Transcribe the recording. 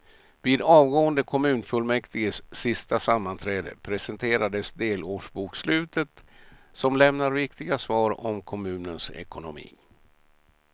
Vid avgående kommunfullmäktiges sista sammanträde presenteras delårsbokslutet som lämnar viktiga svar om kommunens ekonomi.